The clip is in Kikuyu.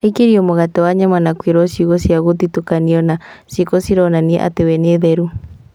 Aikĩrio mũgate wa nyama na kwĩrwo ciugo cia mũthutũkanio na ciĩko cironania atĩ we nĩ therũ